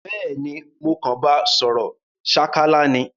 Béèni mo kan ba sòrò sákálá ni